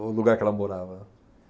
O lugar que ela morava.